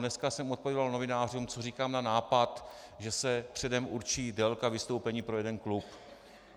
Dneska jsem odpovídal novinářům, co říkám na nápad, že se předem určí délka vystoupení pro jeden klub.